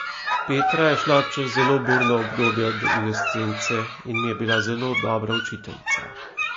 Petra je šla čez zelo burno obdobje adolescence in mi je bila zelo dobra učiteljica.